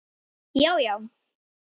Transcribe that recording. Já, já.